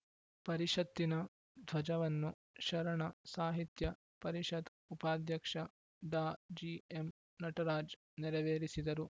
ಪರಿಷತ್ತಿನ ಧ್ವಜವನ್ನು ಶರಣ ಸಾಹಿತ್ಯ ಪರಿಷತ್‌ ಉಪಾಧ್ಯಕ್ಷ ಡಾ ಜಿಎಂ ನಟರಾಜ್‌ ನೆರವೇರಿಸಿದರು